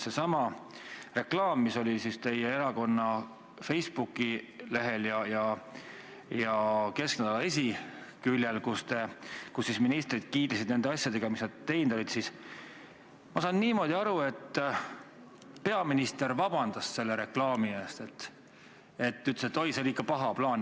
Sellesama reklaami eest, mis oli teie erakonna Facebooki lehel ja Kesknädala esiküljel, kus ministrid kiitlesid nende asjadega, mis nad teinud olid, ma saan niimoodi aru, peaminister palus vabandust, ütles, et oi, see oli ikka paha plaan.